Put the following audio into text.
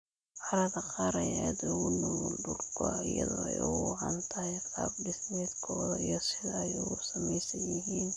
Carrada qaar ayaa aad ugu nugul dhul go'a iyadoo ay ugu wacan tahay qaab-dhismeedkooda iyo sida ay u samaysan yihiin.